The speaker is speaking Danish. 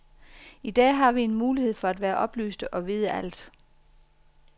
I dag har vi en mulighed for at være oplyste og vide alt.